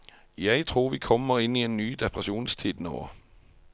Jeg tror vi kommer inn i en ny depresjonstid nå.